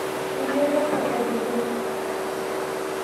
Elototo edukuya